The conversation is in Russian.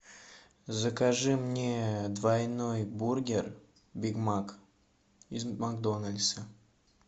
закажи мне двойной бургер биг мак из макдональдса